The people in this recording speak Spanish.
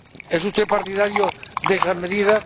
¿Es usted partidario de esa medida?